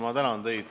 Ma tänan teid!